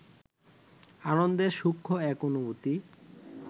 আনন্দের সূক্ষ্ম এক অনুভূতি